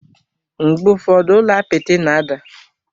Mgbe ụfọdụ, ụlọ apịtị na-ada.